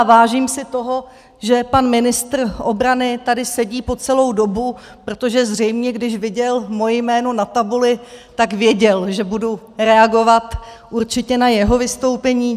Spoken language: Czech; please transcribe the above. A vážím si toho, že pan ministr obrany tady sedí po celou dobu, protože zřejmě když viděl moje jméno na tabuli, tak věděl, že budu reagovat určitě na jeho vystoupení.